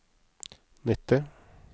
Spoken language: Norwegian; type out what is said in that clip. nitti